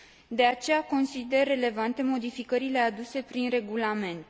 De aceea, consider relevante modificările aduse prin regulament.